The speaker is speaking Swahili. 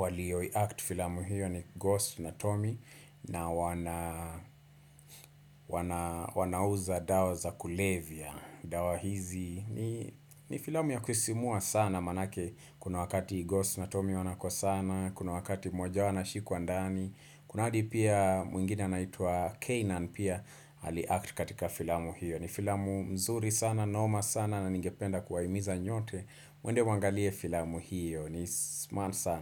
walio iact filamu hiyo ni Ghost na Tommy. Na wanauza dawa za kulevya. Dawa hizi. Ni filamu ya kusimua sana manake. Kuna wakati Ghost na Tommy wanakosana. Kuna wakati mmoja wao anashikwa ndani. Kuna hadi pia mwingine anaitwa Kanan pia aliact katika filamu hiyo. Ni filamu mzuri sana, noma sana na ningependa kuwaimiza nyote. Mwende mwangalie filamu hiyo. Ni smart sana.